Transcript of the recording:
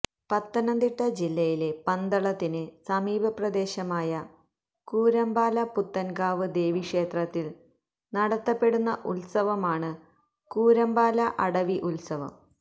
പത്തനംതിട്ട ജില്ലയിലെ പന്തളത്തിന് സമീപപ്രദേശമായ കൂരമ്പാല പുത്തൻകാവ് ദേവീ ക്ഷേത്രത്തിൽ നടത്തപ്പെടുന്ന ഉത്സവമാണ് കൂരമ്പാല അടവി ഉത്സവം